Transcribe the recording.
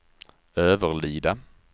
Överlida